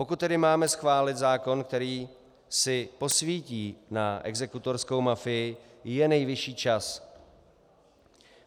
Pokud tedy máme schválit zákon, který si posvítí na exekutorskou mafii, je nejvyšší čas.